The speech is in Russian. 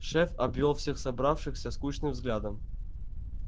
шеф обвёл всех собравшихся скучным взглядом